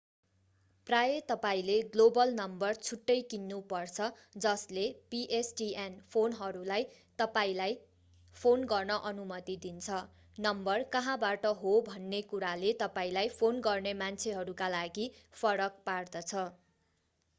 प्रायः तपाईंले global number छुट्टै किन्नु पर्छ जसले pstn फोनहरूलाई तपाईंलाई फोन गर्न अनुमति दिन्छ नम्बर कहाँबाट हो भन्ने कुराले तपाईंलाई फोन गर्ने मान्छेहरूका लागि फरक पार्दछ